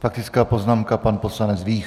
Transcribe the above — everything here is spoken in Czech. Faktická poznámka, pan poslanec Vích.